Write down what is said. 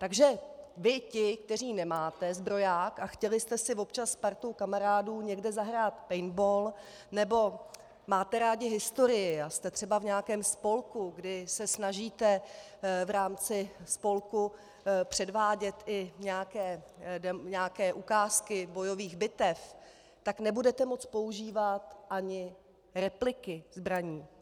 Takže vy ti, kteří nemáte zbroják a chtěli jste si občas s partou kamarádů někde zahrát paintball nebo máte rádi historii a jste třeba v nějakém spolku, kdy se snažíte v rámci spolku předvádět i nějaké ukázky bojových bitev, tak nebudete moct používat ani repliky zbraní.